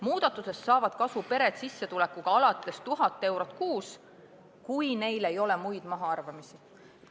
Muudatusest saavad kasu pered sissetulekuga alates 1000 eurot kuus, kui neil ei ole muid mahaarvamisi.